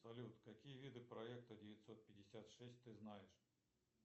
салют какие виды проекта девятьсот пятьдесят шесть ты знаешь